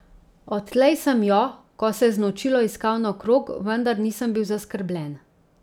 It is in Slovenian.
Odtlej sem jo, ko se je znočilo, iskal naokrog, vendar nisem bil zaskrbljen.